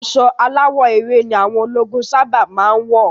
Aṣọ aláwọ̀ ewé ni àwọn ológun sáábà máa ń wọ̀